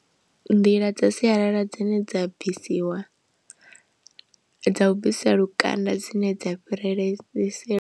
Nḓila dza sialala dzine dza bvisiwa dza u bvisiwa lukanda dzine dza fhirele si .